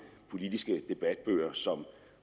politiske debatbøger som